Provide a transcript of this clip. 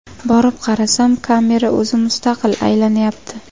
Borib qarasam, kamera o‘zi mustaqil aylanyapti.